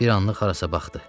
Bir anlıq harasa baxdı.